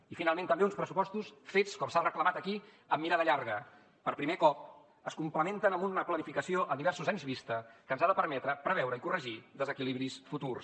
i finalment també uns pressupostos fets com s’ha reclamat aquí amb mirada llarga per primer cop es complementen amb una planificació a diversos anys vista que ens ha de permetre preveure i corregir desequilibris futurs